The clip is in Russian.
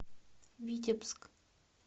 витебск